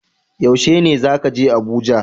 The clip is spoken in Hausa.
Yaushe ne zaka je Abuja?